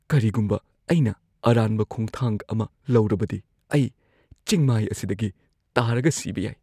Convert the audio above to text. ꯀꯔꯤꯒꯨꯝꯕ ꯑꯩꯅ ꯑꯔꯥꯟꯕ ꯈꯣꯡꯊꯥꯡ ꯑꯃ ꯂꯧꯔꯕꯗꯤ, ꯑꯩ ꯆꯤꯡꯃꯥꯏ ꯑꯁꯤꯗꯒꯤ ꯇꯥꯔꯒ ꯁꯤꯕ ꯌꯥꯏ꯫